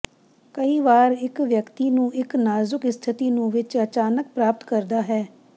ਕਈ ਵਾਰ ਇੱਕ ਵਿਅਕਤੀ ਨੂੰ ਇੱਕ ਨਾਜ਼ੁਕ ਸਥਿਤੀ ਨੂੰ ਵਿੱਚ ਅਚਾਨਕ ਪ੍ਰਾਪਤ ਕਰਦਾ ਹੈ